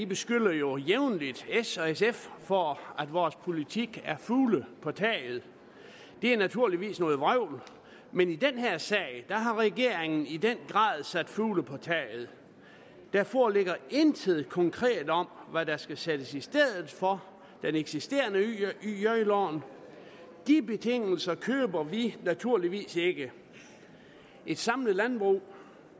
beskylder jo jævnligt s og sf for at vores politik er fugle på taget det er naturligvis noget vrøvl men i den her sag har regeringen i den grad sat fugle på taget der foreligger intet konkret om hvad der skal sættes i stedet for det eksisterende yj lån de betingelser køber vi naturligvis ikke et samlet landbrug